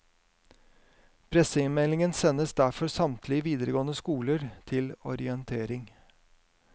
Pressemeldingen sendes derfor samtlige videregående skoler til orientering.